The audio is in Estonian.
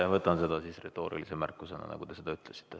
Ma võtan seda siis retoorilise märkusena, nagu te seda ütlesite.